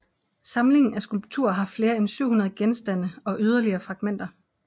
Samlingen af skulpturer har flere end 700 genstande og yderligere fragmenter